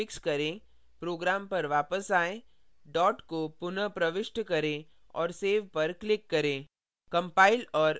अब error को fix करें program पर वापस आएँ dot को पुनः प्रविष्ट करें और save पर click करें